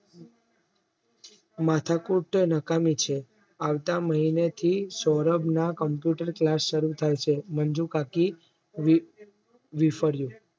માથાકૂટ નકામી છે આવતા મહિનેથી સૌરભના Computer class શરૂ થાય છે. મંજુ કાકી વિફર્યુ